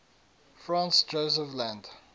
franz josef land